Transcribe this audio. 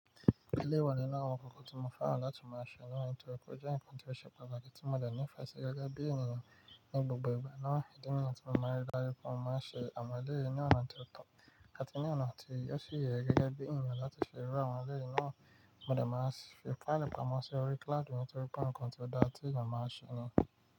Eleyi ìwa ninu awon nkan kan ti mo feran láti maa se nitori pe o je nkan ti se Pataki tí mo dẹ̀ nife sí gẹ́gẹ́ bí ènìyàn Ni gbogbo ìgbà ìdí nìyẹn tí mo máa ń rí dájú pé mo máa ń ṣe awon eleyi ní ọ̀nà tí ó to, àti ní ọ̀nà tí o si yẹ gẹ́gẹ́ bí ènìyàn láti fi rí àwọn eleyìí náà. Mo dẹ̀ máa ń fi plan pamọ́ sí orí cloud mi nítorí pé òun kan ti o dára tí ènìyàn máa ń ṣe ni.